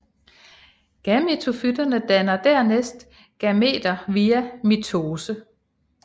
Gametofyttene danner dernæst gameter via mitose